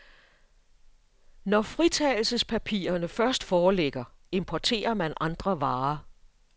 Når fritagelsespapirerne først foreligger, importerer man andre varer.